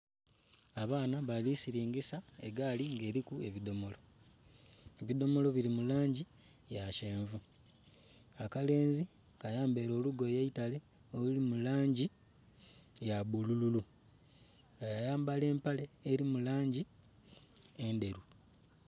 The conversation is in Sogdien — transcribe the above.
Abaana balisiringisa egaali nga eriku ebidhomolo, ebidhomolo biri mulangi yakyenvu, akalenzi kayambaire olugoye eitale oluli mulangi yabbululu yayambala empale eri mulangi endheru.